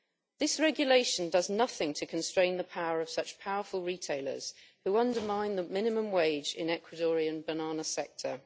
This regulation does nothing to constrain the power of such powerful retailers, who undermine the minimum wage in the Ecuadorian banana sector.